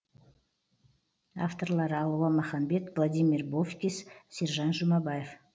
авторлары алуа маханбет владимир бовкис сержан жұмабаев